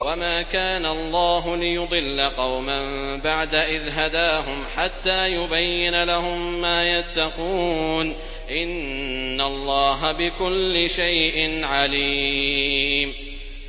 وَمَا كَانَ اللَّهُ لِيُضِلَّ قَوْمًا بَعْدَ إِذْ هَدَاهُمْ حَتَّىٰ يُبَيِّنَ لَهُم مَّا يَتَّقُونَ ۚ إِنَّ اللَّهَ بِكُلِّ شَيْءٍ عَلِيمٌ